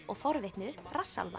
og forvitnu